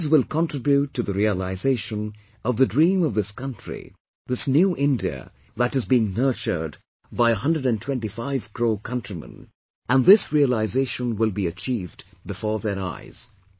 But these will contribute to the realisation of the dream of this country, this 'New India', that is being nurtured by 125 crore countrymen, and this realisation will be achieved before their eyes